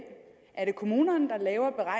er det kommunerne der laver